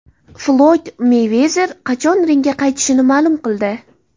Floyd Meyvezer qachon ringga qaytishini ma’lum qildi.